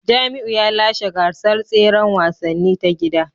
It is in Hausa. Jamiu ya lashe gasar tseren wasanni ta gida